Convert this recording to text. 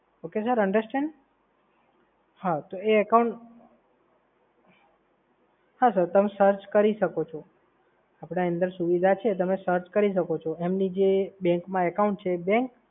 okay sir, understand? હવે account હા સાહેબ તમે search કરી શકો છો, આપણી અંદર એ સુવિધા છે. એમની જે bank મા account છે એ